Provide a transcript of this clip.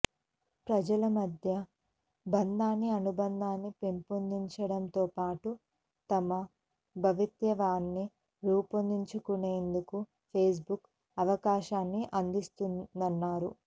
ప్రజల మధ్య బంధాన్ని అనుబంధాన్ని పెంపొందించడంతోపాటు తమ భవితవ్యాన్ని రూపొందించుకునేందుకు ఫేస్బుక్ అవకాశాన్ని అందిస్తోందన్నారు